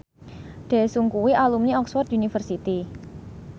Daesung kuwi alumni Oxford university